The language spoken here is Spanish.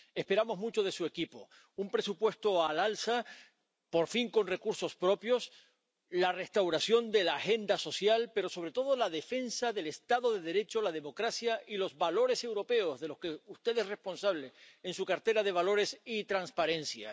Esperamos mucho de su equipo un presupuesto al alza —por fin con recursos propios—, la restauración de la agenda social, pero sobre todo la defensa del estado de Derecho, la democracia y los valores europeos, de los que usted es responsable en su cartera de Valores y Transparencia.